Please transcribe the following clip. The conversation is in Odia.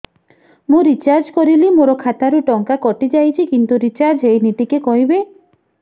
ମୁ ରିଚାର୍ଜ କରିଲି ମୋର ଖାତା ରୁ ଟଙ୍କା କଟି ଯାଇଛି କିନ୍ତୁ ରିଚାର୍ଜ ହେଇନି ଟିକେ କହିବେ